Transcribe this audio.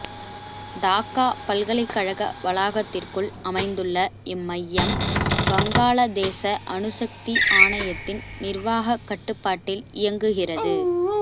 டாக்கா பல்கலைக்கழக வளாகத்திற்குள் அமைந்துள்ள இம்மையம் வங்காளதேச அணுசக்தி ஆணையத்தின் நிர்வாகக் கட்டுப்பாட்டில் இயங்குகிறது